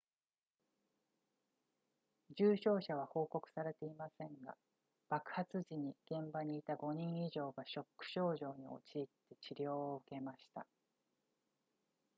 重傷者は報告されていませんが爆発時に現場にいた5人以上がショック症状に陥って治療を受けました